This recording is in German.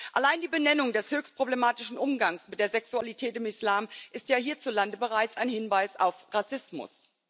Allein die Benennung des höchst problematischen Umgangs mit der Sexualität im Islam ist ja hierzulande bereits ein Hinweis auf Rassismus.